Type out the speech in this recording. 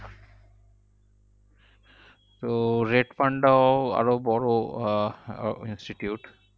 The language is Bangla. তো red panda ও আরো বড় আহ institute